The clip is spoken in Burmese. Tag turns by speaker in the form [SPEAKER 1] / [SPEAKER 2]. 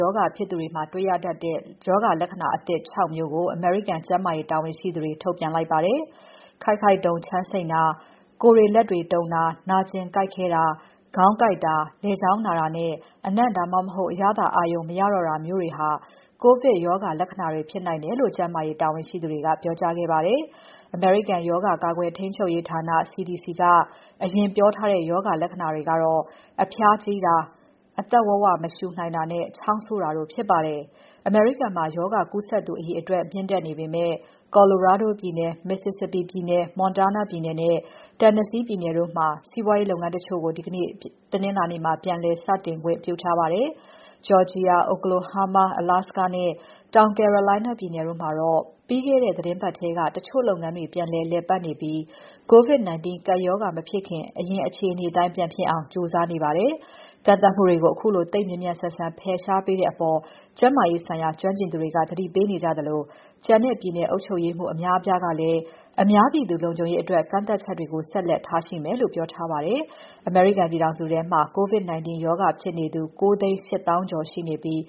[SPEAKER 1] ရောဂါဖြစ်သူတွေမှာ တွေ့ရတတ်တဲ့ ရောဂါလက္ခဏာအသစ် ၆ မျိုးကို အမေရိကန် ကျန်းမာရေးတာဝန်ရှိသူတွေ ထုတ်ပြန်လိုက်ပါတယ်။ ခိုက်ခိုက်တုန်ချမ်းစိမ့်တာ၊ ကိုယ်တွေလက်တွေ တုန်တာ၊ နာကျင် ကိုက်ခဲတာ၊ ခေါင်းကိုက်တာ၊ လည်ချောင်းနာတာနဲ့ အနံ့ ဒါမှမဟုတ် အရသာအာရုံ မရတော့တာမျိုးတွေဟာ COVID ရောဂါလက္ခဏာတွေ ဖြစ်နိုင်တယ်လို့ ကျန်းမာရေးတာဝန်ရှိသူတွေက ပြောကြားခဲ့ပါတယ်။ အမေရိကန် ရောဂါ ကာကွယ်ထိန်းချုပ်ရေးဌာန CDC က အရင်ပြောကြားထားတဲ့ ရောဂါလက္ခဏာတွေက အဖျားကြီးတာ၊ အသက် ဝဝ မရှူနိုင်တာနဲ့ ချောင်းဆိုတာတို့ ဖြစ်ပါတယ်။ အမေရိကန်မှာ ရောဂါကူးစက်သူအရေအတွက် မြင့်တက်နေပေမဲ့ Colorado ပြည်နယ်၊ Mississippi ပြည်နယ်၊ Montana ပြည်နယ်နဲ့ Tennessee ပြည်နယ်တို့မှာ စီးပွားရေးလုပ်ငန်းတချို့ကို ဒီနေ့ တနင်္လာနေ့မှာ ပြန်လည် စတင်ဖွင့်ခွင့် ပြုထားပါတယ်။ Georgia, Oklahoma, Alaska နဲ့ တောင် Carolina ပြည်နယ်တို့မှာတော့ ပြီးခဲ့တဲ့ သီတင်းပါတ်ထဲက တချို့လုပ်ငန်းတွေ ပြန်လည်လည်ပါတ်နေပြီး COVID-19 ကပ်ရောဂါ မဖြစ်ခင် အရင်အခြေ အနေအတိုင်း ပြန်ဖြစ်အောင် ကြိုးစားနေပါတယ်။ ကန့်သတ်မှုတွေကို ခုလို သိပ်မြန်မြန်ဆန်ဆန် ဖယ်ရှားပေးတဲ့အပေါ် ကျန်းမာရေးဆိုင်ရာ ကျွမ်းကျင်သူတွေက သတိပေးနေကြသလို ကျန်တဲ့ ပြည်နယ်အုပ်ချုပ်ရေးမှူး အများအပြားကလည်း အများပြည်သူ လုံခြုံရေးအတွက် ကန့်သတ်ချက်တွေကို ဆက်လက်ထားရှိမယ်လို့ ပြောထားပါတယ်။ အမေရိကန်ပြည်ထောင်စုမှာ COVID-19 ရောဂါဖြစ်နေသူ ၉၈၀,၀၀၀ ကျော်ရှိနေပြီး